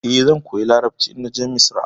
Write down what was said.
Eh, zan koya Larabci idan na je Misra.